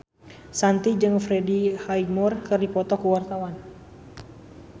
Shanti jeung Freddie Highmore keur dipoto ku wartawan